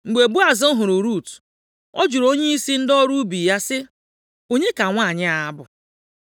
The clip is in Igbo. Mgbe Boaz hụrụ Rut, ọ jụrụ onyeisi ndị ọrụ ubi ya sị, “Onye ka nwanyị a bụ?”